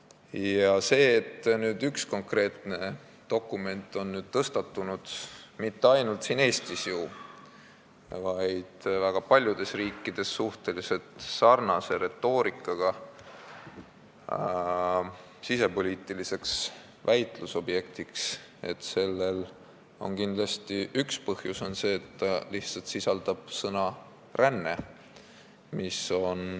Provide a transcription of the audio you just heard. Üks põhjus, miks nüüd on tõusnud arutelu ühe konkreetse dokumendi üle – ja millest on mitte ainult siin Eestis, vaid väga paljudes riikides saanud suhteliselt sarnase retoorikaga sisepoliitiline väitlusobjekt –, on kindlasti selles, et see lihtsalt sisaldab sõna "ränne".